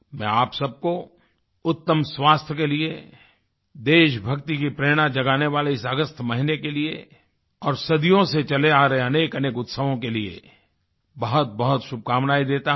मैं आप सब को उत्तम स्वास्थ्य के लिए देशभक्ति की प्रेरणा जगाने वाले इस अगस्त महीने के लिए और सदियों से चले आ रहे अनेकअनेक उत्सवों के लिए बहुतबहुत शुभकामनाएँ देता हूँ